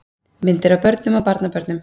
Myndir af börnum og barnabörnum.